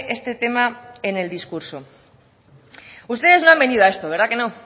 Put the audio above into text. este tema en el discurso ustedes no han venido a esto verdad que no